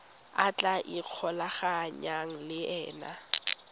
a tla ikgolaganyang le ena